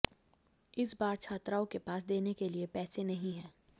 इस बार छात्राओं के पास देने के लिए पैसे नहीं हैं